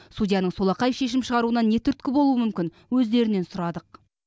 судьяның солақай шешім шығаруына не түрткі болуы мүмкін өздерінен сұрадық